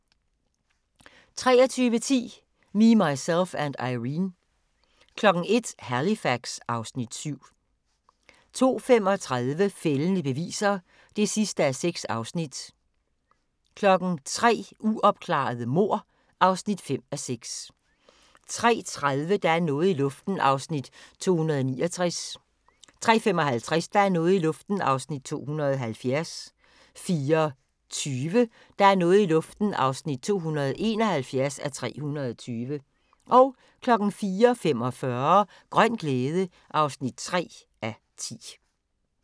23:10: Me, Myself and Irene 01:00: Halifax (Afs. 7) 02:35: Fældende beviser (6:6) 03:00: Uopklarede mord (5:6) 03:30: Der er noget i luften (269:320) 03:55: Der er noget i luften (270:320) 04:20: Der er noget i luften (271:320) 04:45: Grøn glæde (3:10)